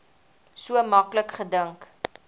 so maklik gedink